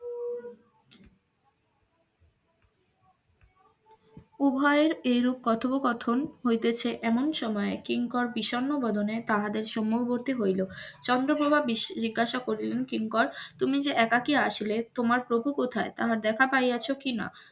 উভয়ের এইরূপ কথপোকথন হইতেছে এমন সময় কিংকর বিষন্ন বদনে তাহাদের সম্মুখবর্তী হইল চন্দ্রপ্রভা জিজ্ঞাসা করিলেন কিংকর তুমি যে একাকি আসিলে তোমার প্রভু কোথায় তাহার দেখা পাইয়াছো কিনা